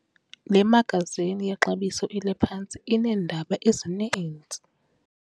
Le magazini yexabiso eliphantsi ineendaba ezininzi.